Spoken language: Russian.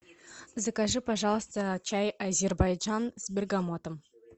закажи пожалуйста чай азербайджан с бергамотом